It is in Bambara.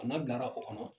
A n'a bilara o kɔnɔ